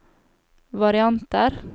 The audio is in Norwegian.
varianter